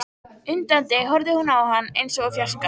Undrandi horfði hún á hann eins og úr fjarska.